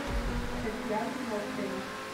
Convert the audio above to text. татьяна нохрина